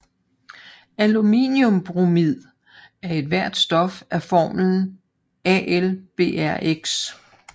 Aluminiumbromid er ethvert stof af formlen AlBrx